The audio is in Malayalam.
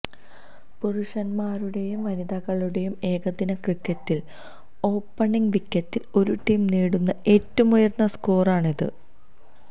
പുരുഷന്മാരുടെയും വനിതകളുടെയും ഏകദിന ക്രിക്കറ്റില് ഓപ്പണിങ് വിക്കറ്റില് ഒരു ടീം നേടുന്ന ഏറ്റവും ഉയര്ന്ന സ്കോറാണിത്